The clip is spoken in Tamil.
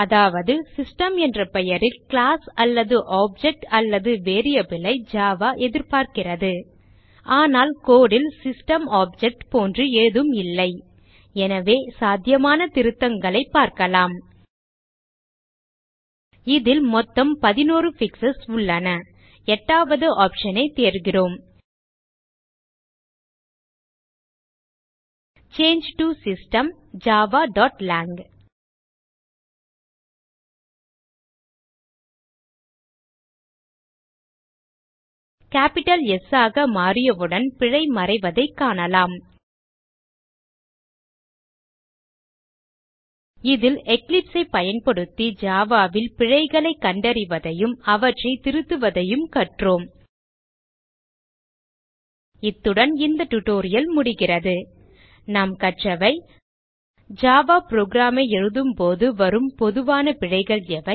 அதாவது சிஸ்டம் என்ற பெயரில் கிளாஸ் அல்லது ஆப்ஜெக்ட் அல்லது variable ஐ ஜாவா எதிர்பார்க்கிறது ஆனால் code ல் சிஸ்டம் ஆப்ஜெக்ட் போன்று ஏதும் இல்லை எனவே சாத்தியமான திருத்தங்களைப் பார்க்கலாம் இதில் மொத்தம் 11 பிக்ஸ் உள்ளன எட்டாவது option ஐ தேர்கிறோம் சாங்கே டோ சிஸ்டம் javaலாங் கேப்பிட்டல் S ஆக மாற்றியவுடன் பிழை மறைவதைக் காணலாம் இதில் eclipse ஐ பயன்படுத்தி java ல் பிழைகளை கண்டறிவதையும் அவற்றை திருத்துவதுவதையும் கற்றோம் இத்துடன் இந்த டியூட்டோரியல் முடிகிறது இந்த tutorial ல் நாம் கற்றவை ஜாவா program ஐ எழுதும் போது வரும் பொதுவான பிழைகள் எவை